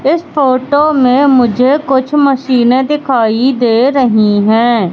इस फोटो में मुझे कुछ मशीनें दिखाई दे रही हैं।